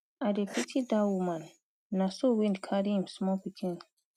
i dey pity dat woman na so wind carry im small pikin.